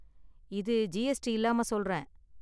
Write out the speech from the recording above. இது ஜிஎஸ்டி இல்லாம சொல்றேன்.